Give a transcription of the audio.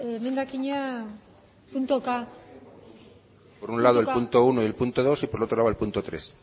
emendakina puntuka por un lado el punto uno y el punto dos y por otro lado el punto tres